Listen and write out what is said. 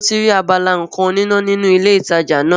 Níbo ni o ti rí abala nǹkan oníná nínú ilé ìtajà náà?